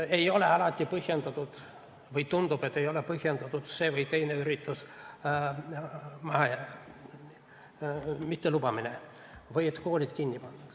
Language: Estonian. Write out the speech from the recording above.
Ei ole alati põhjendatud või tundub, et ei ole põhjendatud selle või teise ürituse mittelubamine või see, et koolid tahetakse kinni panna.